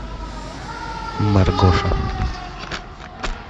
маргоша